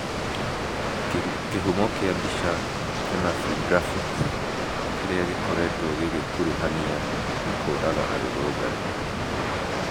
Kĩhumo kĩa mbica, kenafri graphics , kĩrĩa gĩkoretwo gĩkĩkuruhania nĩ kũraga arũrũngani,